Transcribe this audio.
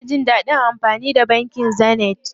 Ina jin dadin amfani da bankin Zenith.